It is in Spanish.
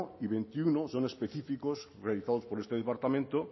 y veintiuno son específicos realizados por este departamento